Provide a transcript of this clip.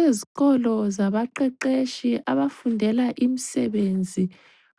Ezikolo zabaqeqetshi abafundela imisebenzi